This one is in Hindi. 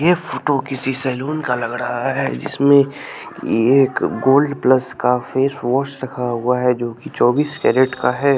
ये फोटो किसी सैलून का लग रहा है जिसमें ये एक गोल्ड प्लस का फेस वॉश रखा हुआ है जो कि चौबीस कैरेट का है।